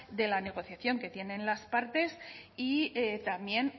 de la negociación que tienen las partes y también